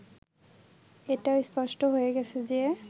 এটাও স্পষ্ট হয়ে গেছে যে